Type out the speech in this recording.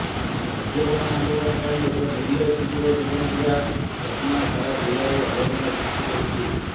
କାର୍ଯ୍ୟବନ୍ଦ ଆନ୍ଦୋଳନ ପାଇଁ ଏକ ନୀରହ ଶିଶୁର ଜୀବନ ଯିବା ଘଟଣା ସାରା ଜିଲ୍ଲାରେ ଆଲୋଡ଼ନ ସୃଷ୍ଟି କରିଛି